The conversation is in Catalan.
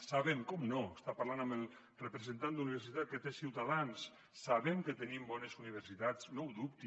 sabem naturalment està parlant amb el representant d’universitats que té ciutadans que tenim bones universitats no ho dubti